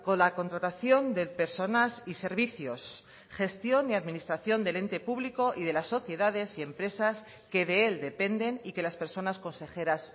la contratación de personas y servicios gestión y administración del ente público y de las sociedades y empresas que de él dependen y que las personas consejeras